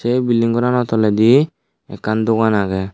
a bilding gorano toledi ekkan dogan agey.